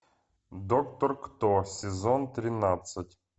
доктор кто сезон тринадцать